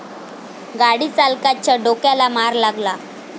गाडी चालकाच्या डोक्याला मार लागला.